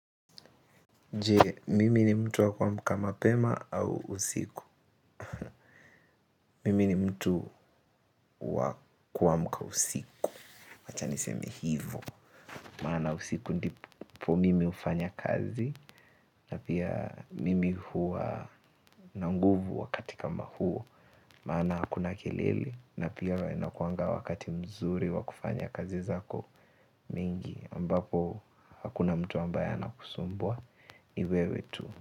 Je mimi ni mtu wa kuamka mapema au usiku Mimi ni mtu wa kuamka usiku. Wacha niseme hivo. Maana usiku ndipo mimi hufanya kazi. Na pia mimi huwa na nguvu wakati kama huo. Maana hakuna kelele. Na pia inakuanga wakati mzuri wa kufanya kazi zako mingi. Ambapo hakuna mtu ambaya anakusumbua ni wewe tu.